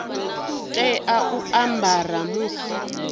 tea u a ambara musi